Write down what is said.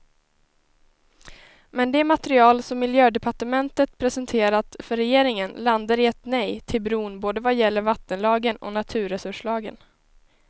Men det material som miljödepartementet presenterat för regeringen landar i ett nej till bron både vad gäller vattenlagen och naturresurslagen.